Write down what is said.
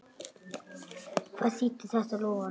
Hvað þýddi þetta loforð?